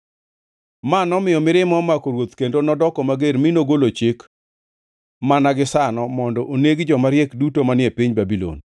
Ma nomiyo mirima omako ruoth kendo nodoko mager, mi nogolo chik mana gisano mondo oneg joma riek duto manie piny Babulon.